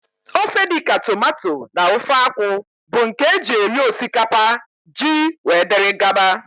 Ofe dịka tomato na ofe akwụ bụ nke e ji eri osikapa, ji wdg.